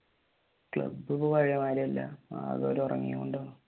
club ഇപ്പൊ പഴയെ മാതിരി അല്ല ആകെ ഒരു ഉറങ്ങിയാ